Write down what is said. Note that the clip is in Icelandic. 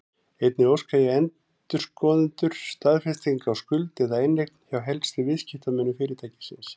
Einnig óska endurskoðendur staðfestinga á skuld eða inneign hjá helstu viðskiptamönnum fyrirtækisins.